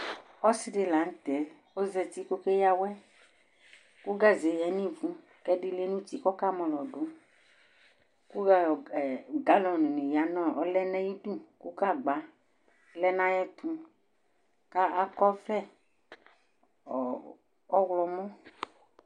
Ɔsɩ dɩ lanʊtɛ ɔzatɩ kɔkeya awʊ, kʊ gaze ya nivʊ kɛdɩ lɛnʊtɩ kɔka mɔlɔdʊ, ku galɔni ɔlɛ nayidʊ, kʊ gagba lɛ naƴɛtʊ, kakɔ ɔvlɛ ɔwlɔmɔ